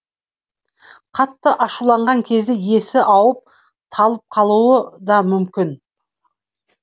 қатты ашуланған кезде есі ауып талып қалуы да мүмкін